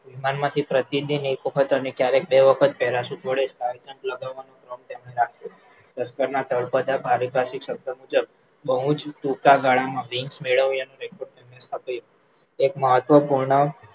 વિમાન માંથી પ્રતિદિન ક્યારેક એક વખત અને ક્યારેક બે વખત parachute વડે Sky jump લગાવવાનું તળપદા બહુજ ટૂંકા ગાળામાં wings મેળવાનું એક મહત્વ પૂર્ણ